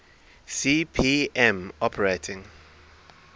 cp m operating